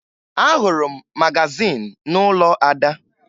Ahụrụ m magazin n'ụlọ Ada